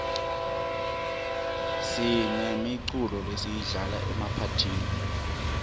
sinemiculo lesiyidlala emaphathini